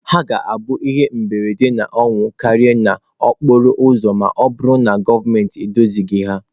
Ha ga-abụ ihe mberede na ọnwụ karịa n'okporo ụzọ ma ọ bụrụ na gọọmentị edozighị ha.